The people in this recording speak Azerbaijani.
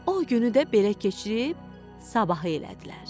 O günü də belə keçirib sabahı elədilər.